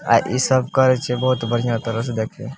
आ इ सब करइ छे बहुत बढ़िया तरह से देखिए।